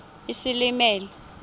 isilimela